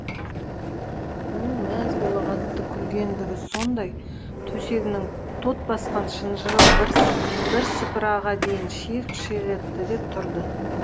оның мәз бола қатты күлгендігі сондай төсегінің тот басқан шынжыры бір бірсыпыраға дейін шиық шиық етті де тұрды